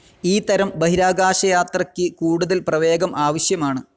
ഈ തരം ബഹിരാകാശയാത്രയ്ക്ക് കൂടുതൽ പ്രവേഗം ആവശ്യമാണ്.